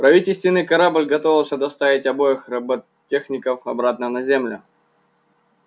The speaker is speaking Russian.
правительственный корабль готовился доставить обоих роботехников обратно на землю